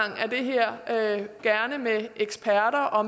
af det her gerne med eksperter og